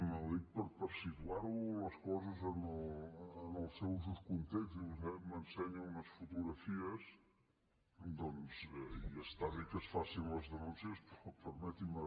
ho dic per situar les coses en el seu just context i vostè m’ensenya unes fotografies i està bé que es facin les denúncies però permeti’m